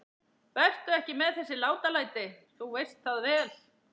Vertu ekki með þessi látalæti. þú veist það vel!